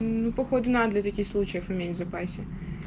ну походу надо для таких случаев иметь в запасе